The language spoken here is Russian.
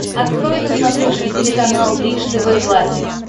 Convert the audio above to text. открой на смотрешке телеканал бридж тв классик